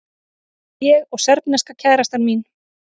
Ég og serbneska kærastan mín.